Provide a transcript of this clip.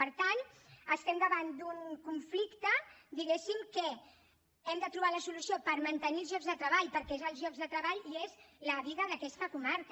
per tant estem davant d’un conflicte diguéssim que hi hem de trobar la solució per mantenir els llocs de treball perquè són els llocs de treball i és la vida d’aquesta comarca